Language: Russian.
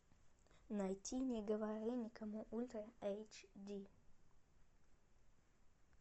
найти не говори никому ультра эйч ди